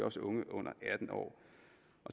også unge under atten år